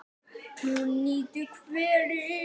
Hún nýtir hveri í